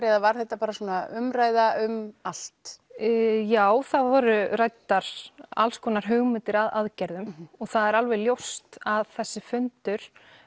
eða var þetta bara svona umræða um allt já það voru ræddar alls konar hugmyndir að aðgerðum og það er ljóst að þessi fundur